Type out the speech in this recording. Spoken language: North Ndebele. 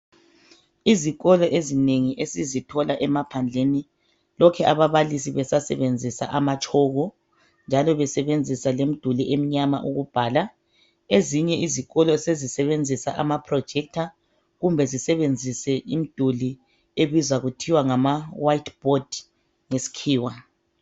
Izikolo ezinengi esizithola emaphandleni lokhe ababalisi besasebenzisa amatshoko njalo besebenzisa lemiduli emnyama ukubhala . Ezinye izikolo sezisebenzisa ama (projector) kumbe zisebenzise imiduli ebizwa kuthiwa ngama 'white board' ngesikhiwa.